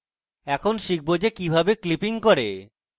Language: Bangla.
এখন শিখব যে কিভাবে clipping করে